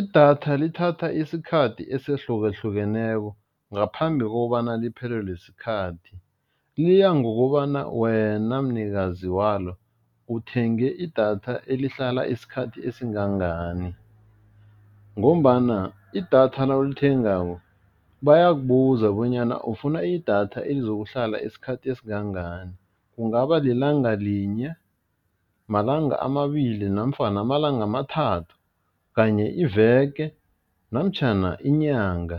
Idatha lithatha isikhathi ehlukahlukeneko ngaphambi kobana liphelelwe sikhathi, liya ngokobanyana wena mnikazi walo uthenge idatha elihlala isikhathi esingangani ngombana idatha nawulithengako bayakubuza bonyana ufuna idatha elizokuhlala isikhathi esingangani, kungaba lilanga linye, malanga amabili, namfana amalanga amathathu, kanye iveke, namtjhana inyanga,